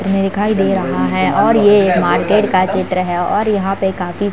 हमे दिखाई दे रहा है और ये एक मार्केट का चित्र है और यहाँ पे काफी --